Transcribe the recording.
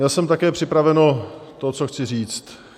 Měl jsem také připraveno to, co chci říct.